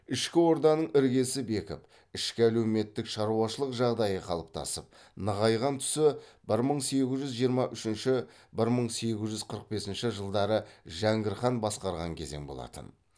ішкі орданың іргесі бекіп ішкі әлеуметтік шаруашылық жағдайы қалыптасып нығайған тұсы бір мың сегіз жүз жиырма үшінші бір мың сегіз жүз қырық бесінші жылдары жәңгір хан басқарған кезең болатын